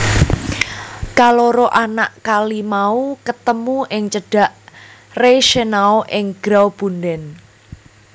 Kaloro anak kali mau ketemu ing cedhak Reichenau ing Graubunden